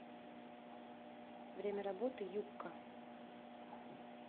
время работы юкка